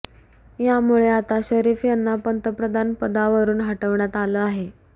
यामुळे आता शरीफ यांना पंतप्रधान पदावरून हटवण्यात आल आहे